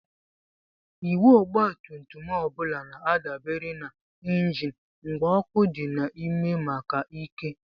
Igwe ọgbatumtum ọ bụla na-adabere na injin mgba ọkụ dị n'ime maka ike.